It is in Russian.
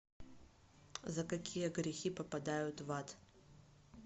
за какие грехи попадают в ад